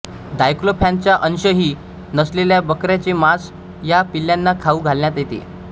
डायक्लोफिनॅकचा अंशही नसलेले बकऱ्याचे मांस या पिल्लांना खाऊ घालण्यात येते